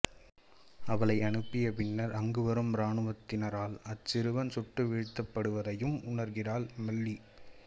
அவளை அனுப்பிய பின்னர் அங்கு வரும் இராணுவத்தினரால் அச்சிறுவன் சுட்டு வீழ்த்தப்படுவதையும் உணர்கின்றாள் மல்லி